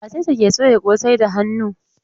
Wace ce ke soya kosai da hannu?